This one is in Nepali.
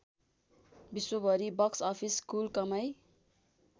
विश्वभरी बक्स अफिस कुल कमाई